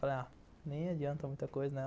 Falei, ah, nem adianta muita coisa, né?